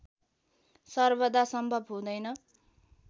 सर्वदा सम्भव हुँदैन